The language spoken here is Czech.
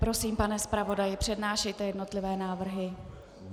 Prosím, pane zpravodaji, přednášejte jednotlivé návrhy.